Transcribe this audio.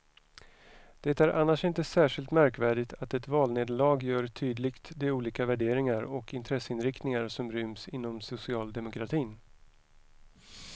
Det är annars inte särskilt märkvärdigt att ett valnederlag gör tydligt de olika värderingar och intresseinriktningar som ryms inom socialdemokratin.